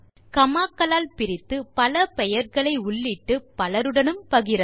gamma க்களால் பிரித்து பல பெயர்களை உள்ளிட்டு பலருடனும் பகிரலாம்